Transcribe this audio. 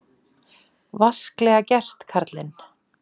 Vasklega gert, karlinn!